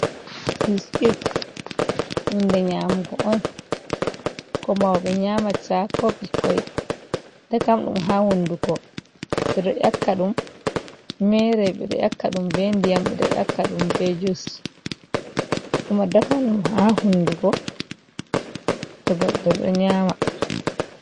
Biskit, hunde nyamugo on ko mauɓe nyamata ko ɓikkoi, dakam ɗum haa hunduko. Ɓe ɗo ƴakka ɗum mere, ɓe ɗo ƴakka ɗum be ndiyam. Ɓe ɗo ƴakka ɗum be jus. Kuma dakam ɗum haa hundugo to goɗɗo ɗo nyama.